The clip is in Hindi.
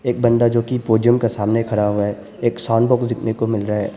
एक बंदा जो कि पोडियम के सामने खड़ा हुआ है। एक साउंड बॉक्स देखने को मिल रहा है।